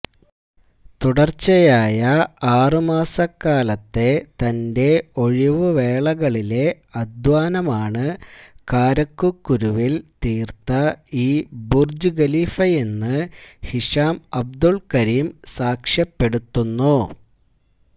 തുടര്ച്ചയായ ആറ് മാസക്കാലത്തെ തന്റെ ഒഴിവുവേളകളിലെ അധ്വാനമാണ് കാരക്കുകുരുവില് തീര്ത്ത ഈ ബുര്ജ് ഖലീഫയെന്ന് ഹിശാം അബ്ദുല് കരീം സാക്ഷ്യപ്പെടുത്തുന്നു